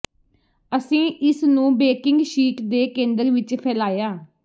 ਅਸੀਂ ਇਸ ਨੂੰ ਬੇਕਿੰਗ ਸ਼ੀਟ ਦੇ ਕੇਂਦਰ ਵਿੱਚ ਫੈਲਾਇਆ